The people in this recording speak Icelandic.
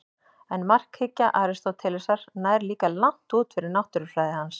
En markhyggja Aristótelesar nær líka langt út fyrir náttúrufræði hans.